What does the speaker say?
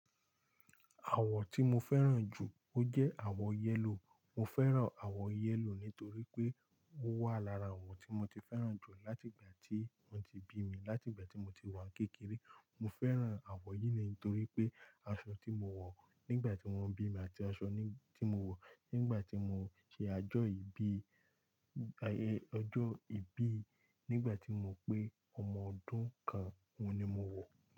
Àwọ̀ tí mo fẹ́ràn jù, ó jẹ́ àwọ̀ yẹ́lò. Mo fẹ́ràn àwọ̀ yẹ́lò nítorí pé ó wà lára àwọn tí mo ti fẹ́ràn jù láti ìgbà tí wọ́n ti bí mi, láti ìgbà tí mo ti wà ń kékeré. Mo fẹ́ràn àwọ̀ yìí nítorí pé aṣọ tí mo wọ̀ nígbà tí wọ́n bí mi àti aṣọ tí mo wọ̀ nígbà tí mo ṣe ajọ́ ìbí, ọjọ́ ìbí nígbà tí mo pé ọmọ ọdún kan, òun ni mo wọ̀.